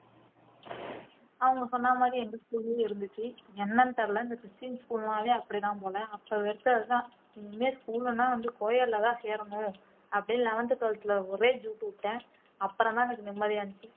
அவங்க சொன்ன மாதிரி எங்க school லயும் இருந்துச்சு என்னன்னு தெரியலே இந்த christian school ன்னாவே அப்படித்தான் போல அப்ப வெறுத்தது தான் இனிமே school ன்னா வந்து co edit லதான் சேரணும் அப்படின்னு eleventh காலத்துல ஒரே ஜூட் விட்டேன் அப்புறம்தான் எனக்கு நிம்மதியா இருந்துச்சு